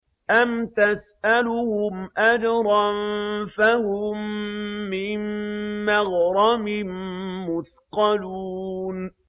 أَمْ تَسْأَلُهُمْ أَجْرًا فَهُم مِّن مَّغْرَمٍ مُّثْقَلُونَ